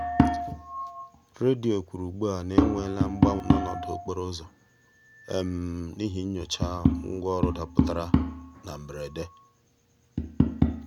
redio kwuru ugbua na e nweela mgbanwe n'ọnọdụ okporo ụzọ n'ihi nyocha ngwaọrụ dapụtara na mberede.